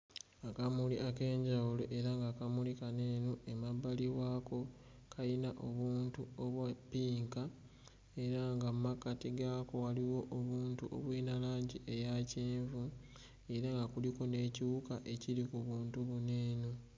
Akamuli ak'enjawulo era nga akamuli kano eno emabbali waako kalina obuntu obwa ppinka era nga mmakkati gaako waliwo obuntu obulina langi eya kyenvu, era nga kuliko n'ekiwuka ekiri ku buntu buno eno.